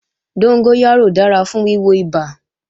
Dóngóyárò dára fún wíwo ibà